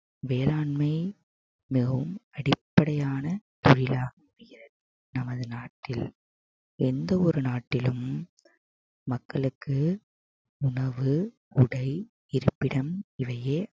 வேளாண்மை மிகவும் அடிப்படையான நமது நாட்டில் எந்த ஒரு நாட்டிலும் மக்களுக்கு உணவு உடை இருப்பிடம் இவையே